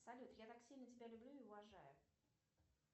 салют я так сильно тебя люблю и уважаю